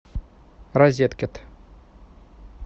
розеткед